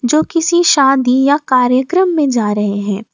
जो किसी शादी या कार्यक्रम में जा रहे हैं।